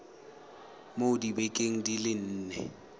mo dibekeng di le nne